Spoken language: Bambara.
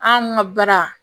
An ka baara